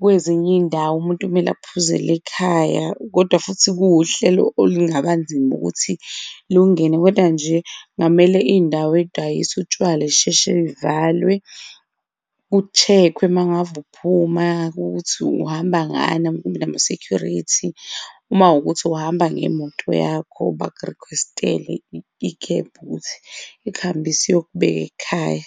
kwezinye izindawo, umuntu kumele aphuzele ekhaya. Kodwa futhi kuwuhlelo olungaba nzima ukuthi lungene, kodwa nje ngamele izindawo ezidayisa utshwala zisheshe zivalwe, ku check-we uma ngave uphuma ukuthi uhamba ngani ama-security. Uma wukuthi uhamba ngemoto yakho, baku request-ele i-cab ukuthi ikuhambise iyokubeka ekhaya.